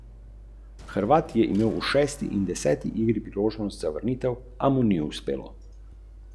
Oceno dobro je dobilo šest žit za otroke, ki so vsebovali le dodane arome.